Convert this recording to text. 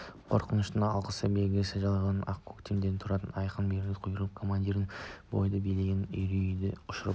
қорқыныштың алғашқы белгісі байқалысымен-ақ өктем де тура айқын берілген бұйрық пен команда бойды билеген үрейді ұшырып